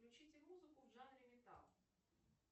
включите музыку в жанре металл